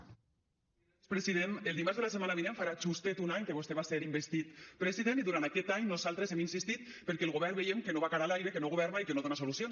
president el dimarts de la setmana vinent farà justet un any que vostè va ser investit president i durant aquest any nosaltres hi hem insistit perquè el govern veiem que no va cara a l’aire que no governa i que no dona solucions